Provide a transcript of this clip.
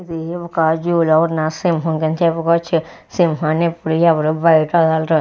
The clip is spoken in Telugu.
ఇది ఒక్క జూలో ఉన్న సింహం కింద చెప్పుకోవచ్చు సింహాన్ని ఎప్పుడూ ఎవరు బయట వదలరు.